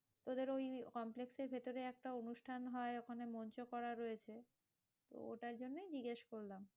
তোদের ওই complex এর ভেতরে একটা অনুষ্ঠান হয় ওখানে মঞ্চ করা রয়েছে। ওটার জন্যই জিজ্ঞেস করলাম।